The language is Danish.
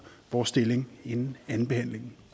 vores stillingtagen inden andenbehandlingen